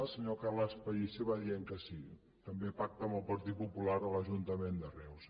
el senyor carles pellicer va dient que sí també pacta amb el partit popular a l’ajuntament de reus